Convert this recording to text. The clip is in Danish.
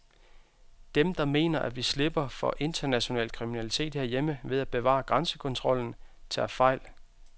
Dem, der mener, at vi slipper for international kriminalitet herhjemme ved at bevare grænsekontrollen, tager fejl.